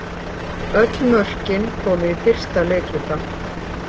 Öll mörkin komu í fyrsta leikhluta